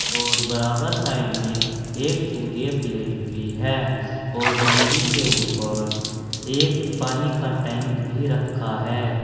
और बराबर साइड में एक सूर्य प्लेट भी है और मंदिर के ऊपर एक पानी का टैंक भी रखा है।